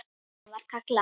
Svona var Kalla.